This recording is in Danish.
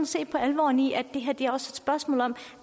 se på alvoren i at det her også spørgsmål om